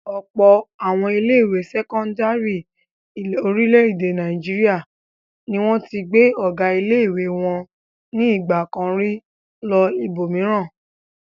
Ọ̀pọ̀ àwọn ilé-ìwé sẹ́kọ́ndárì orílẹ̀-èdè Nàìjíríà ni wọ́n ti gbé ọ̀gá ilé-ìwé wọn ní ìgbà kan rí lọ ibòmíràn.